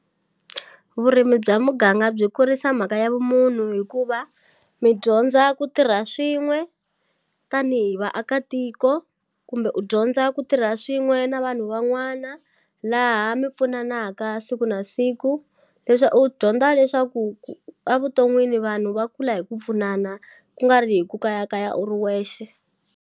Vurimi bya muganga byi kurisa mhaka ya vumunhu hikuva mi dyondza ku tirha swin'we tanihi vaakatiko kumbe u dyondza ku tirha swin'we na vanhu wa n'wana laha mi pfunanaka siku na siku u dyondza leswaku a vuton'wini vanhu va kula hi ku pfunana kungari hi ku kayakaya u ri wexe.